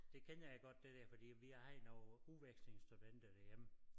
Det kender jeg godt det der fordi at vi havde nogle udvekslingsstudenter derhjemme